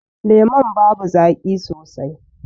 Lemun babu zaƙi sosai.